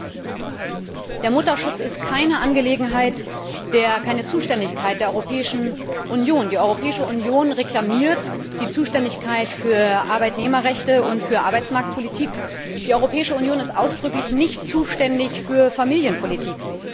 Zweitens Der Mutterschutz ist keine Zuständigkeit der Europäischen Union. Die Europäische Union reklamiert die Zuständigkeit für Arbeitnehmerrechte und für Arbeitsmarktpolitik, die Europäische Union ist ausdrücklich nicht zuständig für Familienpolitik.